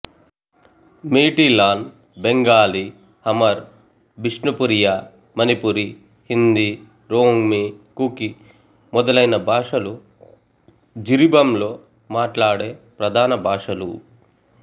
మీటిలాన్ బెంగాలీ హమర్ బిష్ణుపురియా మణిపురి హిందీ రోంగ్మీ కుకి మొదలైన భాషలు జిరిబంలో మాట్లాడే ప్రధాన భాషలు